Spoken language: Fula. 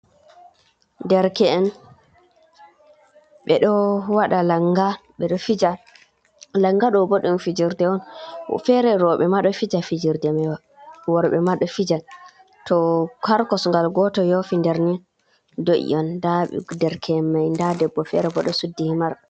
Ɗerke en, be ɗo waɗa langa, beɗo fija. Langa ɗo ɗum fijirɗe on, fere worbe ma ɗo fijirɗe mai, worbe ɗo fija, to har kosgal goto yofi ɗerni, ɗo i on. Ɗa ɗerke’en mai. Ɗa ɗebbo fere boɗo suɗxi himar.